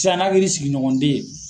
Sian na kɛri sigiɲɔgɔnden ye.